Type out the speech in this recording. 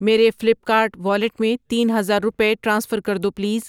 میرے Flipkart wallet میں تین ہزار روپے ٹرانسفر کر دو پلیز۔